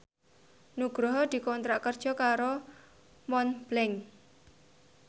Nugroho dikontrak kerja karo Montblanc